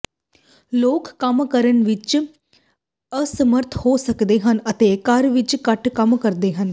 ਲੋਕ ਕੰਮ ਕਰਨ ਵਿਚ ਅਸਮਰੱਥ ਹੋ ਸਕਦੇ ਹਨ ਅਤੇ ਘਰ ਵਿਚ ਘੱਟ ਕੰਮ ਕਰਦੇ ਹਨ